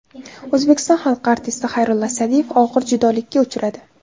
O‘zbekiston xalq artisti Xayrulla Sa’diyev og‘ir judolikka uchradi.